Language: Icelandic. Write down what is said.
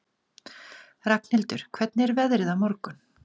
Ragnhildur, hvernig er veðrið á morgun?